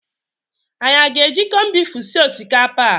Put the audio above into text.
Anyị aga-eji kọnbifu sie osikapa a?